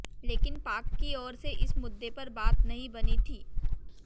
लेकिन पाक की ओर से इस मुद्दे पर बात नहीं बनी थी